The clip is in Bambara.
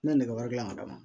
Ne nɛgɛ wɛrɛ gilan ka d'a ma